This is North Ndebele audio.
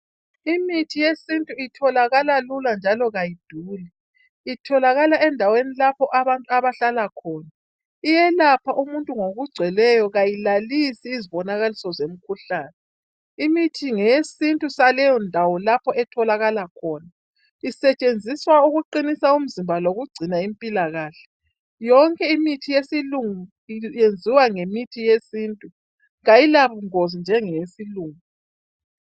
Imithi yesintu itholakala lula njalo kayiduli itholakala endaweni lapho abantu abahlala khona iyelapha umuntu ngokugcweleyo kayilalisi izibonakaliso zomkhuhlane imithi ngeyesintu saleyo ndawo lapho etholakala khona isetshenziswa ukuqinisa umzimba lokugcina impilakahle, yonke imithi yesilungu yenziwa ngemithi yesintu kayilabungozi njengeyesilungu.